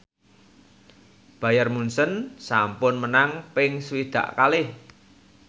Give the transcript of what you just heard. Bayern Munchen sampun menang ping swidak kalih